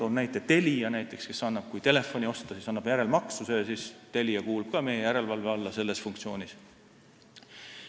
Toon näiteks Telia, kes müüb telefone järelmaksuga, st Telia kuulub ka meie järelevalve alla selles funktsioonis.